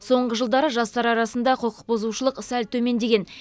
соңғы жылдары жастар арасындағы құқықбұзушылық сәл төмендеген